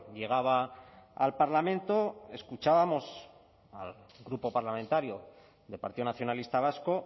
llegaba al parlamento escuchábamos al grupo parlamentario del partido nacionalista vasco